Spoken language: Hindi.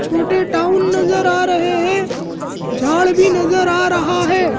छोटे टाउन नज़र आ रहे है झाड़ भी नज़र आ रहा है।